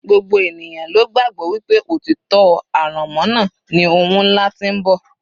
gbogbo ènìyàn ló gbàgbọ́ wípé òtítọ́ aránmọ́nà ni ohun ńlá tí ń bọ̀